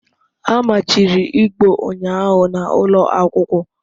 A machiri Igbo ụnyahụ na ụlọ akwụkwọ